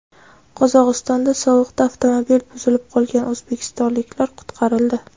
Qozog‘istonda sovuqda avtomobili buzilib qolgan o‘zbekistonliklar qutqarildi.